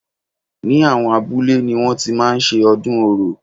Ni àwọn abúlé ni wọ́n ti máa ń ṣe ọdún orò.